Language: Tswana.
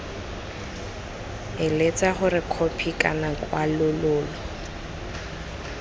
eletsa gore khopi kana kwalololo